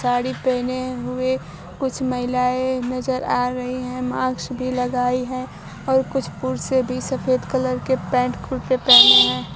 साड़ी पहने हुए कुछ महिलाएं नजर आ रही है मास्क भी लगायी है और कुछ पुरुषे भी सफेद कलर के पैन्ट कुर्ते पहने हैं।